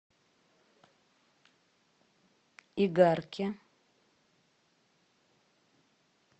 игарке